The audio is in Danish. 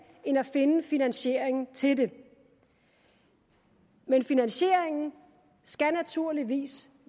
end at finde finansieringen til det men finansieringen skal naturligvis